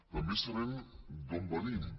també sabem d’on venim